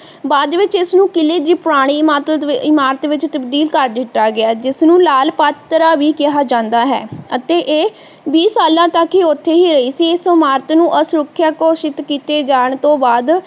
ਬਾਅਦ ਵਿਚ ਇਸ ਨੂੰ ਕਿਲ੍ਹੇ ਦੀ ਪੁਰਾਣੀ ਇਮਾਦਤਇਮਾਰਤ ਵਿਚ ਤਬਦੀਲ ਕਰ ਦਿੱਤਾ ਗਿਆ ਜਿਸ ਨੂੰ ਲਾਲ ਪਾਤਰਾਂ ਵੀ ਕਿਹਾ ਜਾਂਦਾ ਹੈ ਅਤੇ ਇਹ ਬੀਹ ਸਾਲਾਂ ਤੱਕ ਹੀ ਉੱਥੇ ਹੀ ਰਹੀ ਸੀ ਅਤੇ ਇਸ ਇਮਾਰਤ ਨੂੰ ਅਸੁਰੱਖਿਅਤ ਘੋਸ਼ਿਤ ਕੀਤੇ ਜਾਣ ਤੋਂ ਬਾਅਦ